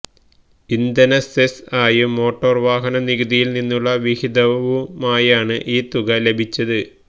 ഇന്ധന സെസ് ആയും മോട്ടോർ വാഹന നികുതിയിൽ നിന്നുള്ള വിഹിതവുമായാണ് ഇൌ തുക ലഭിച്ചത്